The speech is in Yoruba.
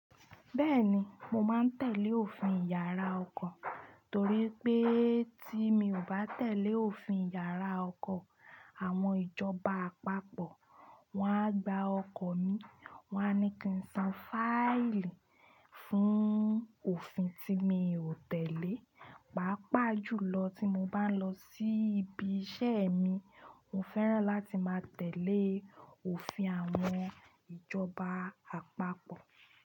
Bẹ́ẹ̀ni, mo máa ń tẹ̀lé òfin yàrá ọkọ̀ torí pé tí mi ò bá tẹ̀lé òfin yàrá ọkọ̀ àwọn ìjọba àpapọ̀, wọ́n á gba ọkọ̀ mi, wọ́n á ní kí n san fáílì fún òfin tí mi ò tẹ̀lé, pàápàá jùlọ tí mo bá ń lọ sí ibi iṣẹ́ mi. Mo fẹ́ràn láti máa tẹ̀lé òfin àwọn ìjọba àpapọ̀